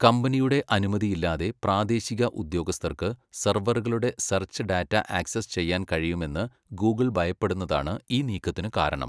കമ്പനിയുടെ അനുമതിയില്ലാതെ പ്രാദേശിക ഉദ്യോഗസ്ഥർക്ക് സെർവറുകളുടെ സെർച്ച് ഡാറ്റ ആക്സസ് ചെയ്യാൻ കഴിയുമെന്ന് ഗൂഗിൾ ഭയപ്പെടുന്നതാണ് ഈ നീക്കത്തിന് കാരണം.